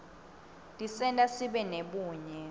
tisenta sibe nebunye